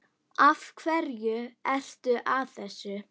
Af hverju ertu að þessu?